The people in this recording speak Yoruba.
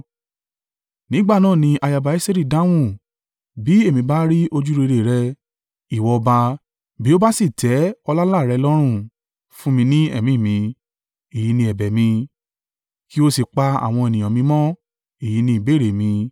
Nígbà náà ni ayaba Esteri dáhùn, “Bí èmi bá rí ojúrere rẹ, ìwọ ọba, bí ó bá sì tẹ́ ọláńlá à rẹ lọ́rùn, fún mi ní ẹ̀mí mi, èyí ni ẹ̀bẹ̀ mi. Kí o sì pa àwọn ènìyàn mi mọ́—èyí ni ìbéèrè mi.